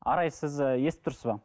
арай сіз ы естіп тұрсыз ба